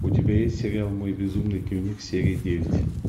у тебя есть сериал мой безумный дневник серия девять